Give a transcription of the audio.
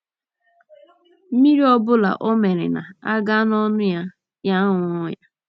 Mmiri ọ bụla ọ mịịrị na - aga n’ọnụ ya, ya aṅụọ ya.